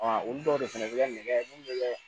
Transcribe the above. olu dɔw de fɛnɛ bɛ kɛ nɛgɛ mulu bɛ kɛ